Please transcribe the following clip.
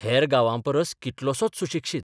हेर गांवांपरस कितलोसोच सुशिक्षीत.